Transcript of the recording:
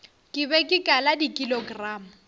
ke be ke kala dikilogramo